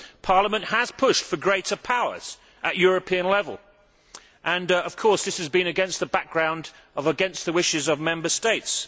Parliament has pushed for greater powers at European level. Of course, this has been against the background of being against the wishes of Member States.